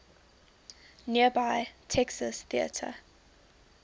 nearby texas theater